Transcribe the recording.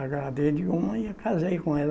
Agradei de uma e casei com ela.